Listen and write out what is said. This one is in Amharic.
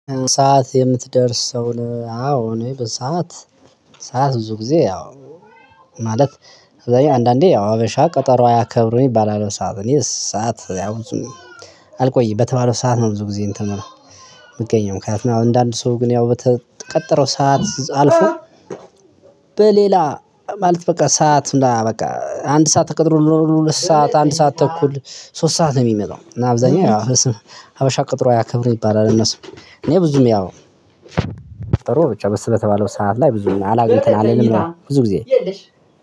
ሰዓት የምትደርስ ሰው አዎ እኔ በሰአት ሰዓት ብዙ ጊዜ ያው ማለት አንዳንዴ ያው ሀበሻ ቀጠሮ አያከብሩም ይባላል ሰዓት እኔ ሰዓት አልቆይ በተባለው ሰዓት ነው። ብዙ ጊዜ እንትን ምለው ምገኘው ምክንያቱም አሁን እንደ አንድ ሰው ግን ያው በተቀጠረው ሰዓት አልፎ። በሌላ ማለት በቃ ሰዓት እንዳላ በቃ አንድ ሰዓት ተቀጥሮ ሁለት ሰዓት አንድ ሰዓት ተኩል ሶስት ሰዓት ነው ሚመጣው ነው ሚመጣው። አብዛኛው ያው ሀበሻ ቀጠሮ አያከብርም ይባላል። እነሱ እኔ ብዙም ያው ጥሩ ብቻ በስተተባለው ሰዓት ላይ ብዙም አላግኝተን አለኝ ብዙ ጊዜ የለሽ